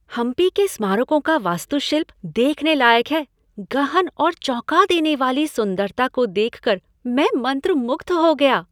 हम्पी के स्मारकों का वास्तुशिल्प देखने लायक है। गहन और चौंका देने वाली सुंदरता को देखकर मैं मंत्रमुग्ध हो गया।